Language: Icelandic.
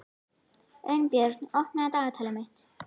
Unnbjörn, opnaðu dagatalið mitt.